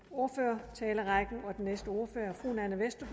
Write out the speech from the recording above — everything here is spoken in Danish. ordførertalerækken og den næste ordfører